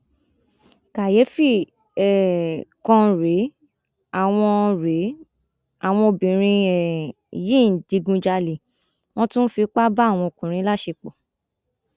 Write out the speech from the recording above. kàyééfì um kan rèé àwọn rèé àwọn obìnrin um yìí ń digunjalè wọn tún ń fipá bá ọkùnrin láṣepọ